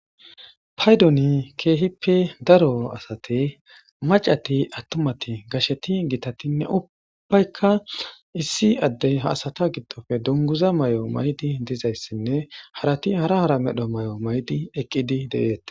Paydoni keehippe daro asate macati attumati gasheti gitatinne ubbaykka issi addey ha asata giddofe dunguza may'o may'di dizayssinne harati hara hara medho may'o may'idi eqqidi de'eete.